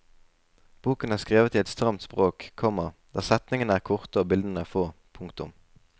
Boken er skrevet i et stramt språk, komma der setningene er korte og bildene få. punktum